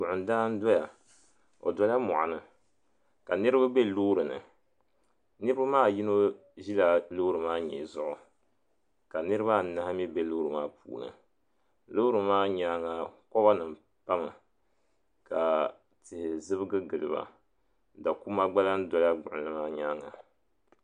Gbiɣindaa n doya o dola mɔɣuni ka niriba be loori ni niriba maa yino ʒila loori maa nyee zuɣu ka niriba anahi mi be loori maa puuni loori maa nyaanga koba nima pa mi ka tihi zibgi gili ba dakuma gba lahi dola gbiɣinli maa nyaanga.